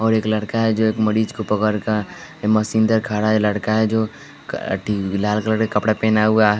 और एक लड़का है जो एक मरीज को पकड़ कर मशीन दर खड़ा है लड़का है जो क टी लाल कलर का कपड़ा पेना हुआ है।